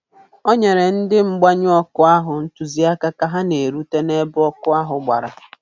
O nyere ndị ọrụ mgbanyụ ọkụ ahụ ntụziaka ka ha na-erute ebe ọkụ ahụ gbara.